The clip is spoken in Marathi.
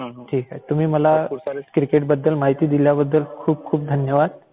तुम्ही मला क्रिकेट बद्दल माहिती दिल्याबद्दल खूप खूप धन्यवाद!